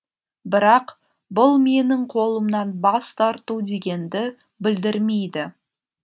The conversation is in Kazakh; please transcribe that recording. бірақ бұл менің қолымнан бас тарту дегенді білдірмейді